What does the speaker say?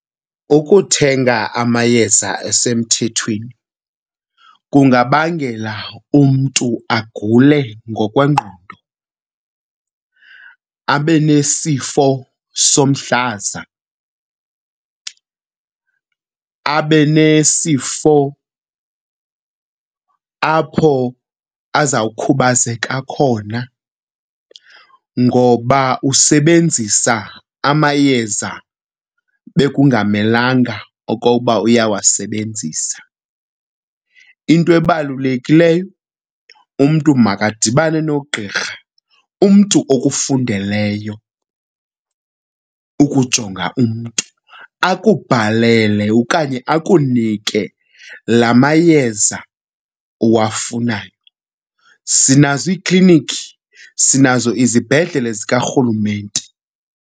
Ukuthenga amayeza asemthethweni kungabangela umntu agule ngokwengqondo, abe nesifo somhlaza, abe nesifo apho azawukhubazeka khona ngoba usebenzisa amayeza bekungamelanga okokuba uyawasebenzisa. Into ebalulekileyo umntu makadibane nogqirha, umntu okufundeleyo ukujonga umntu, akubhalele okanye akunike la mayeza uwafunayo. Sinazo iiklinikhi, sinazo izibhedlele zikaRhulumente.